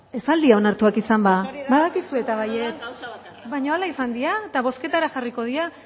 ez al dira onartuak izan ba badakizue eta baietz baina hala izan dira eta bozketara jarriko dira